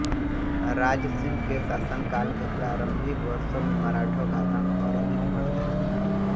राजसिंह के शानकाल के प्रारम्भिक वर्षों में मराठों का आतंक और अधिक बढ़ गया था